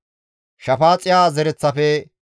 Arahe zereththafe 652;